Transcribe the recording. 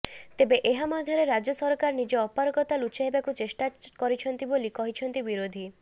ତେବେ ଏହା ମଧ୍ୟରେ ରାଜ୍ୟ ସରକାର ନିଜ ଅପାରଗତା ଲୁଚାଇବାକୁ ଚାଷ୍ଟା କରିଛନ୍ତି ବୋଲି କହିଛନ୍ତି ବିରୋଧୀ